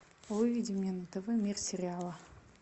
выведи мне на тв мир сериала